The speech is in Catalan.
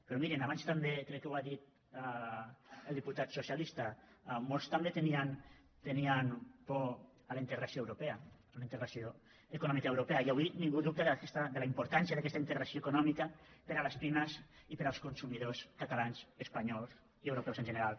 però mirin abans també crec que ho ha dit el diputat socialista molts tenien por a la integració europea a la integració econòmica europea i avui ningú dubta de la importància d’aquesta integració econòmica per a les pimes i per als consumidors catalans espanyols i europeus en general